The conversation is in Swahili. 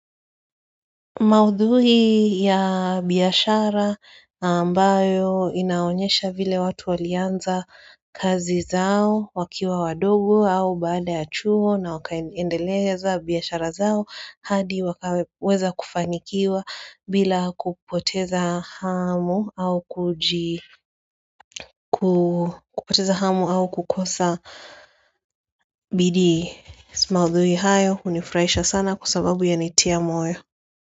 Maudhui ya biashara ambayo inaonyesha vile watu walianza kazi zao wakiwa wadogo au baada ya chuo na wakaendeleza biashara zao hadi wakaweza kufanikiwa bila kupoteza kupoteza hamu au kukosa bidii maudhui hayo hunifurahisha sana kwa sababu yanitia moyo.